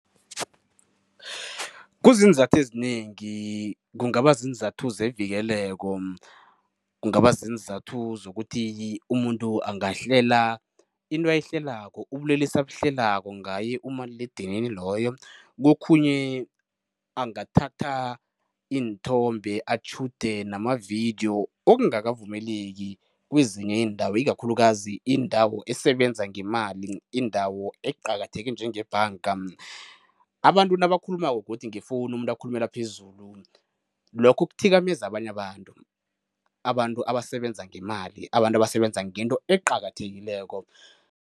Kuziinzathu ezinengi. Kungaba ziinzathu zevikeleko, kungaba ziinzathu zokuthi umuntu angahlela into ayihlelako, ubulelesi abuhlelako ngaye umaliledinini loyo. Kokhunye angathatha iinthombe, atjhude namavidiyo, okungakavumeleki kwezinye iindawo ikakhulukazi indawo esebenza ngemali, indawo eqakatheke njengebhanga. Abantu nabakhulumako godi ngefowunu, umuntu akhulumela phezulu, lokho kuthikameza abanye abantu, abantu abasebenza ngemali, abantu abasebenza ngento eqakathekileko.